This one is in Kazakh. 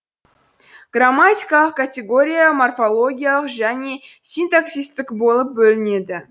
грамматикалық категория морфологиялық және синтаксистік болып бөлінеді